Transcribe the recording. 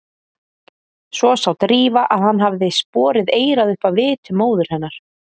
Svo sá Drífa að hann hafði borið eyrað upp að vitum móður hennar.